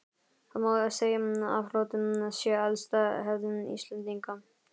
Það má segja að flótti sé elsta hefð Íslendinga.